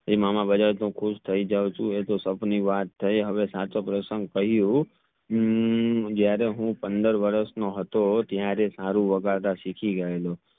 એ મામા બજાવે તો હું ખુશ થઈ જાવ છું એ તો સાપની વાત થઈ હવે સાચો પ્રસંગ થયું હમ જ્યારે હું પંદર વરસ નો હતો ત્યરેહ સારું વગાડતા સિખી ગયેલો